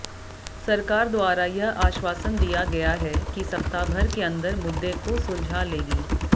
सरकार द्वारा यह आश्वासन दिया गया है कि सप्ताहभर के अंदर मुद्दे को सुलझा लेगी